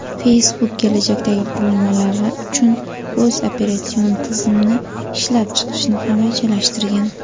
Facebook kelajakdagi qurilmalari uchun o‘z operatsion tizimini ishlab chiqishni ham rejalashtirgan.